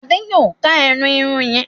Ade yóò ká ẹnu Irun yén.